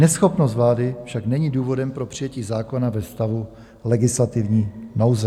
Neschopnost vlády však není důvodem pro přijetí zákona ve stavu legislativní nouze.